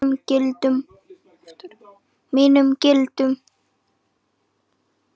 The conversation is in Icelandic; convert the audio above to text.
Mínum gildum.